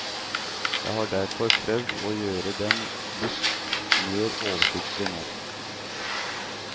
Jeg har derfor prøvd å gjøre de litt mer oversiktlig nå.